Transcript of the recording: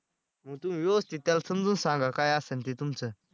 मग तुम्ही व्यवस्थित त्याला समजून सांगा काय असन ते तुमचं.